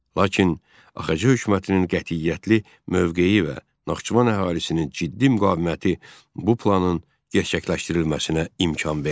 Lakin AXC hökumətinin qətiyyətli mövqeyi və Naxçıvan əhalisinin ciddi müqaviməti bu planın gerçəkləşdirilməsinə imkan vermədi.